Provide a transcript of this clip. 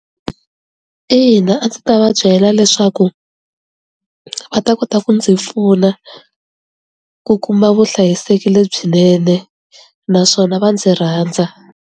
Ina, a ndzi ta va byela leswaku va ta kota ku ndzi pfuna ku kuma vuhlayiseki lebyinene naswona va ndzi rhandza.